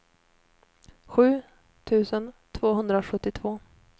sju tusen tvåhundrasjuttiotvå